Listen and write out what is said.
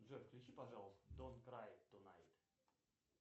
джой включи пожалуйста донт край тунайт